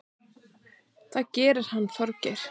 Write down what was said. Það gerir hann Þorgeir.